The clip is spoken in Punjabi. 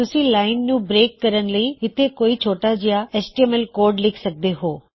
ਤੁਸੀਂ ਲਾਇਨ ਨੂੰ ਬਰੇਕ ਕਰਨ ਲਈ ਇਥੇ ਕੋਈ ਛੋਟਾ ਜਿਹਾ ਐਚਟੀਐਮਐਲ ਕੋਡ ਲਿੱਖ ਸਕਦੇ ਹੋਂ